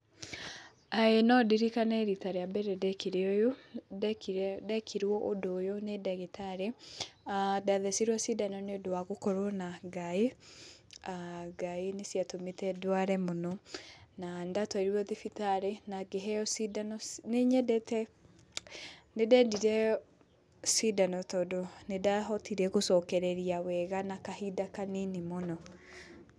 Ĩĩ no ndirikane rita rĩa mbere ndekirwo ũndũ ũyũ nĩ ndagĩtarĩ, ndathecirwo cindano nĩ ũndũ wa gũkorwo na ngaĩ. Ngaĩ nĩ ciatũmĩte ndware mũno na nĩ ndatwarirwo thibitarĩ na ngĩheo cindano. Nĩ nyendete, nĩ ndendire cindano tondũ nĩ ndahotire gũcokereria wega na kahinda kanini mũno.